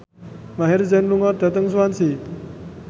Maher Zein lunga dhateng Swansea